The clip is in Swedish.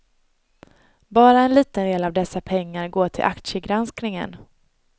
Bara en liten del av dessa pengar går till aktiegranskningen.